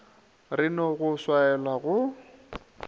re no go swaela go